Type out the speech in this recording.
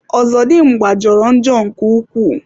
Ozodimgba jọrọ njọ nke ukwuu.